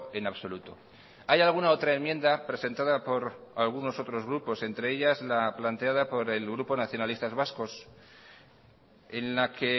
en absoluto hay alguna otra enmienda presentada por algunos otros grupos entre ellas la planteada por el grupo nacionalistas vascos en la que